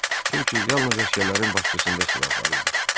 Çünki yalnız əsgərlərin başçısında silah var idi.